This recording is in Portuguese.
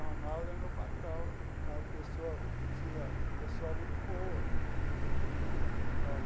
Ronaldo é meu patrão é uma pessoa assim pessoa muito boa.